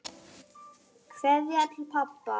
Kveðja til pabba.